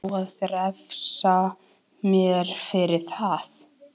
Á að refsa mér fyrir það?